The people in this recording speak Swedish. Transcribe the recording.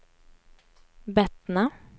Bettna